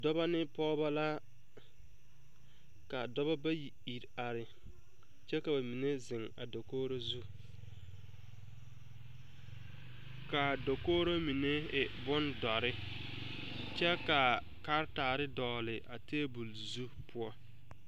Dɔba ne pɔgeba la ka dɔba bayi ire are kyɛ ka ba mine ziŋ a dakogro zu kaa dakogro mine e boŋ dɔre kyɛ kaa karetaare dɔgle a tabol zu poɔ.